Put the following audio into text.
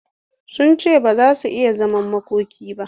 Sun ce ba za su yi zaman makoki ba.